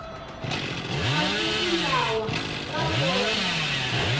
masiku lawa va vona